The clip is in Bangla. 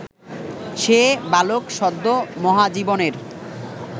সে বালক সদ্য মহাজীবনের